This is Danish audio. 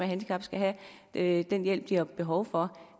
handicap skal have den hjælp de har behov for